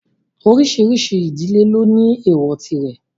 Oríṣiríṣi ìdílé ló ní èwọ̀ tirẹ̀.